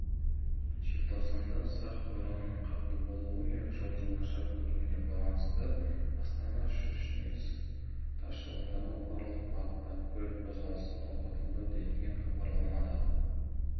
желтоқсанда сағ боранның қатты болуы мен жолдың нашар көрінуіне байланысты астана-щучинск тас жолындағы барлық бағыттағы көлік қозғалысы тоқтатылды делінген хабарламада